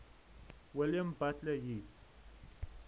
william butler yeats